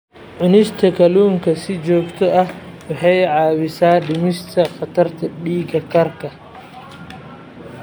Cunista kalluunka si joogto ah waxay caawisaa dhimista khatarta dhiig karka.